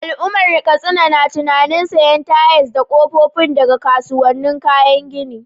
Al’ummar Katsina na tunanin sayen tayal da kofofin daga kasuwannin kayan gini.